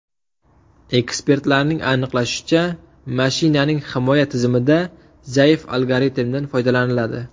Ekspertlarning aniqlashicha, mashinaning himoya tizimida zaif algoritmdan foydalaniladi.